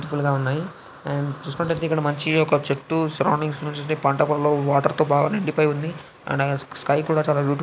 Full గా ఉన్నాయి and చూసుకున్నట్లయితే ఇక్కడ ఒక చెట్టు సరౌండింగ్ పంట పొలంలో వాటర్ తో బాగా నిండిపోయి ఉంది. అక్కడ స్కై కూడా బ్యూటిఫుల్ --